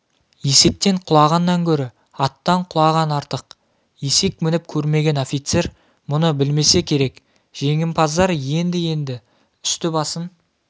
есектен құлағаннан гөрі аттан құлаған артық есек мініп көрмеген офицер мұны білмесе керек жеңімпаздар енді-енді үсті-басын